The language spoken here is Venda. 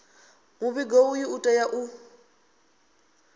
muvhigo uyu u tea u